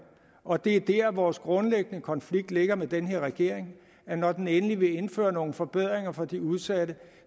og det er der vores grundlæggende konflikt ligger med den her regering når den endelig vil indføre nogle forbedringer for de udsatte